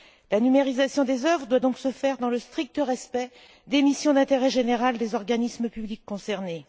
La numération des œuvres doit donc se faire dans le strict respect des missions d'intérêt général des organismes publics concernés.